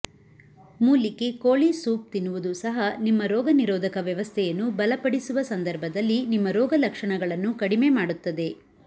ಮೂಲಿಕೆ ಕೋಳಿ ಸೂಪ್ ತಿನ್ನುವುದು ಸಹ ನಿಮ್ಮ ರೋಗನಿರೋಧಕ ವ್ಯವಸ್ಥೆಯನ್ನು ಬಲಪಡಿಸುವ ಸಂದರ್ಭದಲ್ಲಿ ನಿಮ್ಮ ರೋಗಲಕ್ಷಣಗಳನ್ನು ಕಡಿಮೆ ಮಾಡುತ್ತದೆ